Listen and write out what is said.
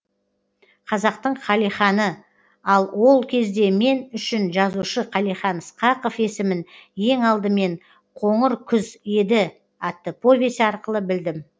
қазақтың қалиханы ал ол кезде мен үшін жазушы қалихан ысқақов есімін ең алдымен қоңыр күз еді атты повесі арқылы білдім